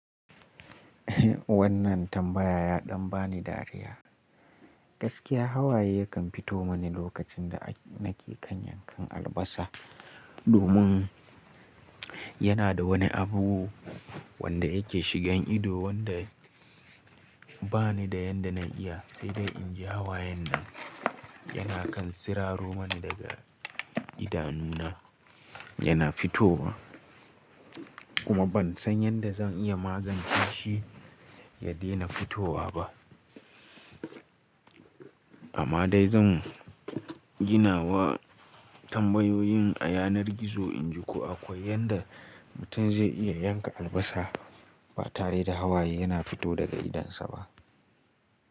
Wannan tambaya ya ɗan bani dariya. Gaskiya Hawaye yakan fito mani lokacin da nake yankan albasa domin yana da wani abu wanda yake shigan ido wanda ba ni da yadda na iya, sai dai in ji hawayen nan yana kan siraro mani daga idanuna yana fitowa kuma ban san yadda zan iya ma zan yi shi ya daina fitowa ba. Amma dai zan gina wa tambayoyin a yanar gizo inji ko akwai yadda mutum zai iya yanka albasa ba tare da Hawaye yana fito daga idonsa ba.